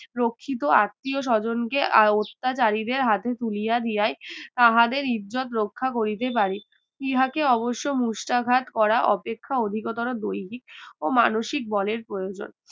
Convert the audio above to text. প্রকৃত আত্মীয়-স্বজনকে আর অত্যাচারীদের হাতে তুলিয়া দিয়াই তাহাদের ইজ্জত রক্ষা করিতে পারি ইহাকে অবশ্য মুষ্টাঘাত করা অপেক্ষা অধিকতর দৈহিক ও মানসিক বলের প্রয়োজন